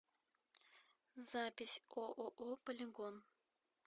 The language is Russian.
запись ооо полигон